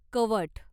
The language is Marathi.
कवठ